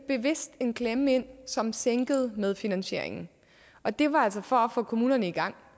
bevidst en klemme ind som sænkede medfinansieringen og det var altså for at få kommunerne i gang